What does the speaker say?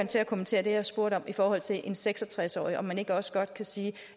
til at kommentere det jeg spurgte om i forhold til en seks og tres årig altså om man ikke også godt kan sige